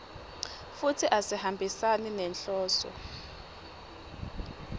futsi asihambisani nenhloso